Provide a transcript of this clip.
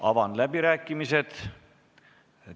Avan läbirääkimised.